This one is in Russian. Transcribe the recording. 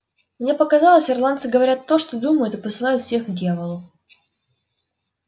мне показалось ирландцы говорят то что думают и посылают всех к дьяволу